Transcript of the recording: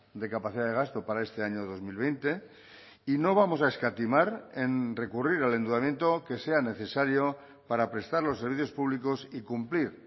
de capacidad de gasto para este año dos mil veinte y no vamos a escatimar en recurrir al endeudamiento que sea necesario para prestar los servicios públicos y cumplir